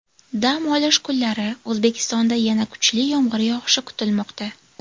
Dam olish kunlari O‘zbekistonda yana kuchli yomg‘ir yog‘ishi kutilmoqda.